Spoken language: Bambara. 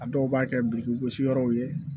A dɔw b'a kɛ biriki gosi yɔrɔw ye